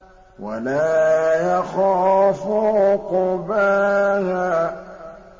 وَلَا يَخَافُ عُقْبَاهَا